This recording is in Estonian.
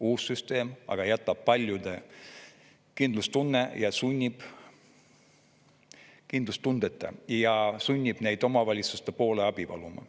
Uus süsteem aga jätab paljud kindlustundeta ja sunnib neid omavalitsuste poole abi paluma.